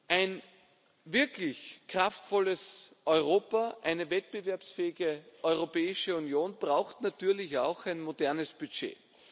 Ein wirklich kraftvolles Europa, eine wettbewerbsfähige Europäische Union braucht natürlich auch ein modernes Budget.